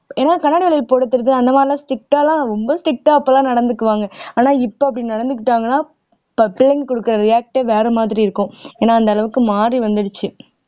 ஏன்னா கண்ணாடி வளையல் போட அந்த மாதிரி எல்லாம் strict ஆ எல்லாம் ரொம்ப strict ஆ அப்பெல்லாம் நடந்துக்குவாங்க ஆனா இப்ப அப்படி நடந்துக்கிட்டாங்கன்னா ப பிள்ளைங்க கொடுக்கிற react ஏ வேற மாதிரி இருக்கும் ஏன்னா அந்த அளவுக்கு மாறி வந்துருச்சு